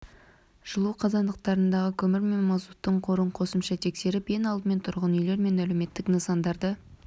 жылу қазандықтарындағы көмір мен мазуттың қорын қосымша тексеріп ең алдымен тұрғын үйлер мен әлеуметтік нысандарды